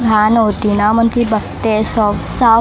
घाण होती ना म्हणून ती बघते सो साफ